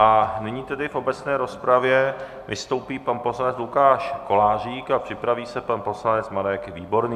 A nyní tedy v obecné rozpravě vystoupí pan poslanec Lukáš Kolářík a připraví se pan poslanec Marek Výborný.